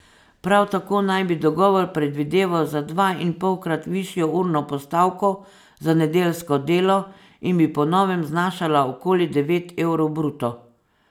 Prav tako naj bi dogovor predvideval za dvainpolkrat višjo urno postavko za nedeljsko delo, in bi po novem znašala okoli devet evrov bruto.